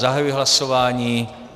Zahajuji hlasování.